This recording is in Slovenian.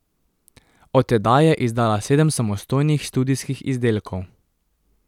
Od tedaj je izdala sedem samostojnih studijskih izdelkov.